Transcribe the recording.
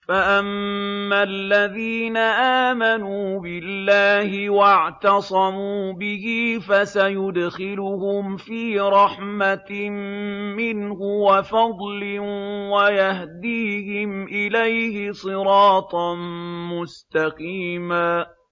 فَأَمَّا الَّذِينَ آمَنُوا بِاللَّهِ وَاعْتَصَمُوا بِهِ فَسَيُدْخِلُهُمْ فِي رَحْمَةٍ مِّنْهُ وَفَضْلٍ وَيَهْدِيهِمْ إِلَيْهِ صِرَاطًا مُّسْتَقِيمًا